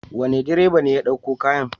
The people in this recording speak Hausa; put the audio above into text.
Wane direba ne ya ɗauko kayan?